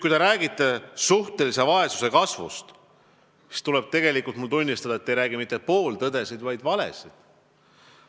Kui te räägite suhtelise vaesuse kasvust, siis tuleb tunnistada, et te ei räägi mitte pooltõdesid, vaid valesid.